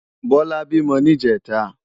Bola bímò ni ijètá